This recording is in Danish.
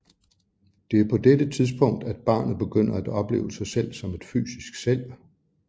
Det er på dette tidspunkt at barnet begynder at opleve sig selv som et fysisk selv